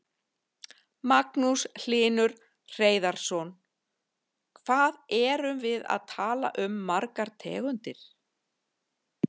Magnús Hlynur Hreiðarsson: Hvað erum við að tala um margar tegundir?